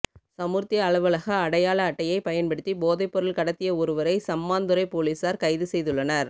சமுர்த்தி அலுவலக அடையாள அட்டையை பயன்படுத்தி போதைப்பொருள் கடத்திய ஒருவரை சம்மாந்துறைப் பொலிஸார் கைது செய்துள்ளனர்